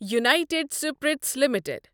united Spirits limited